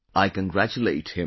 I congratulate him